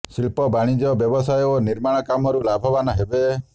ଶିଳ୍ପ ବାନିଜ୍ୟ ବ୍ୟବସାୟ ଓ ନିର୍ମାଣ କାମରୁ ଲାଭବାନ୍ ହେବେ